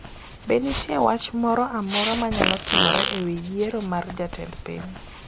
Be nitie wach moro amora ma nyalo timore e wi yiero mar jatend piny?